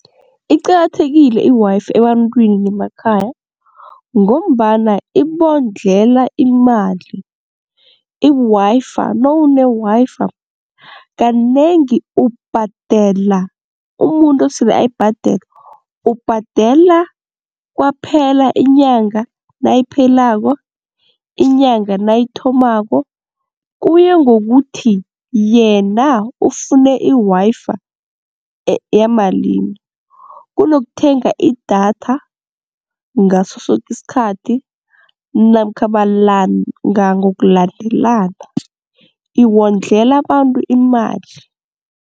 Iqakathekile i-Wi-Fi ebantwini bemakhaya ngombana ibondlela imali i-Wi-Fi, nawune-Wi-Fi kanengi ubhadela umuntu osele ayibhadela, ubhadela kwaphela inyanga nayiphelako, inyanga nayithomako. Kuya ngokuthi yena ufune i-Wi-Fi yamalimi kunokuthenga idatha ngaso soke isikhathi namkha malanga ngokulandelana iwondlela abantu imali.